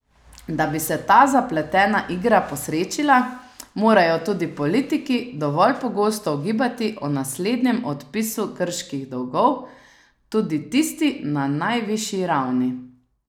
Da bi se ta zapletena igra posrečila, morajo tudi politiki dovolj pogosto ugibati o naslednjem odpisu grških dolgov, tudi tisti na najvišji ravni.